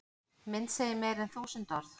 Mynd segir meira en þúsund orð